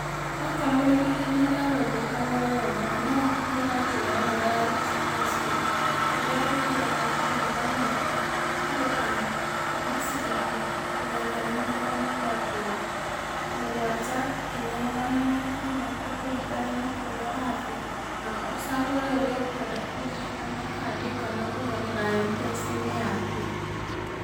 Okorwo wĩ na ihenya rĩa gũthiĩ harĩa ũrenda, noũhũthĩre njĩra ĩyo ya express way, kũrĩa ũthiaga ũkarũgama, ũkarĩha kuma ciringi igana rĩmwe rĩa mĩrongo mũgwanja, nginya magana matano, gũkũringana na kũrĩa ũrathiĩ, na ũcagũre ũrĩa ũkwenda kũrĩha, kana kandi, kana kũgerera Mpesa-inĩ yaku.